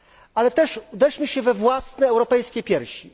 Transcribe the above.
Ale też uderzmy się we własne europejskie piersi.